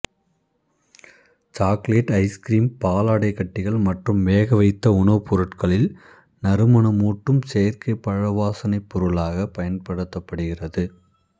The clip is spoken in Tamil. சாக்கலேட்டு ஐசுகிரீம் பாலாடைக்கட்டிகள் மற்றும் வேகவைத்த உணவுப் பொருட்களில் நறுமணமூட்டும் செயற்கைப் பழவாசனைப் பொருளாக பயன்படுத்தப்படுகிறது